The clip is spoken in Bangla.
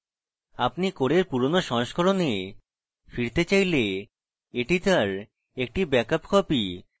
আপনি core পুরোনো সংস্কণে ফিরতে চাইলে একটি তার একটি ব্যাকআপ copy